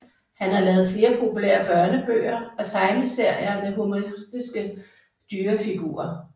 Han har lavet flere populære børnebøger og tegneserier med humoristiske dyrefigurer